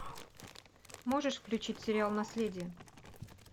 можешь включить сериал наследие